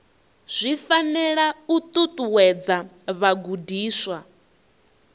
zwi fanela u ṱuṱuwedza vhagudiswa